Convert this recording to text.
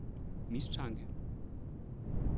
mistanke